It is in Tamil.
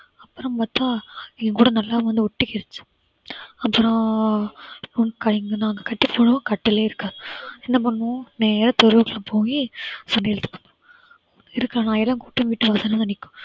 அப்புறம் பார்த்தா ஏன்கூட நல்லா வந்து ஒட்டிக்கிச்சு அப்புறம் நாங்க கட்டி போடுவோம் கட்டியே இருக்காது என்ன பண்ணுவோம் நேரா தெருவுக்கு போயி சண்டை இழுத்துப்போம் வீட்டு வாசல்ல வந்து நிற்கும்